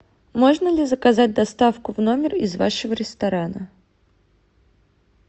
можно ли заказать доставку в номер из вашего ресторана